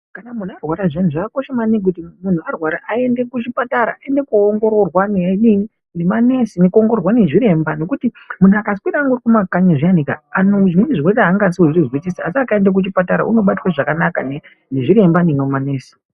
Kana munhu arwara zviyani zvakakosha kuti munhu aende kuchipatara aende kuongororwa nemanesi nezviremba nekuti munhu akaswera angari mumakanyi zviyani kaaa ano zvimweni zvirwere angazozvizwisisi asi akaende kuchipatara unobatwe zvakanaka nezviremba nemanesi.